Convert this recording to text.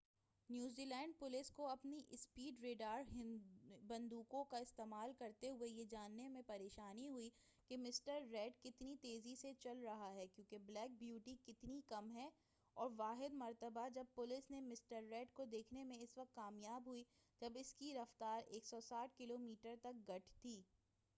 New Zealand police کو اپنی speed radar بندوقوں کا استعمال کرتے ہوئے یہ جاننے میں پریشانی ہوئی کہ مسٹر ریڈ کتنی تیزی سے چل رہا ہے کیونکہ بلیک بیوٹی کتنی کم ہے اور واحد مرتبہ جب پولیس نے مسٹر ریڈ کو دیکھنے میں اس وقت کامیاب ہوئی جب اس کی رفتار 160 کلو میٹر تک گٹھ گئی